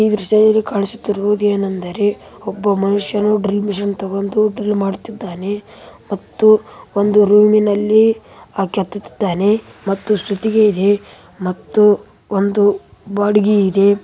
ಈ ದೃಶ್ಯದಲ್ಲಿ ಕಾಣಿಸುತ್ತಿರುವುದು ಏನೆಂದರೆ ಒಬ್ಬ ಮನುಷ್ಯನು ಡ್ರೀಲ್‌ ಮಿಷಿನ್‌ ತಕ್ಕೊಂಡು ಡ್ರೀಲ್‌ ಮಾಡುತ್ತಿದ್ದಾನೆ ಮತ್ತು ಒಂದು ರೂಮಿ ನಲ್ಲಿ ಹಗೆಯುತ್ತಿದ್ದಾನೆ ಮತ್ತು ಸುತಿಗೆಯಲ್ಲಿ ಮತ್ತು ಒಂದು ಬಾಡಿಗೆ ಇದೆ.